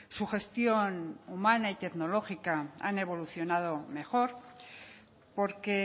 su gestión humana y tecnológica han evolucionado mejor porque